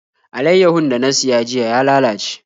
Alaiyahun da na siya jiya ya lalace.